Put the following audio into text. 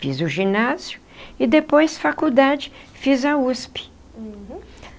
Fiz o ginásio e depois, faculdade, fiz a USP. Uhum.